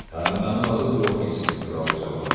Hə, mənim adım Yotkinsdir.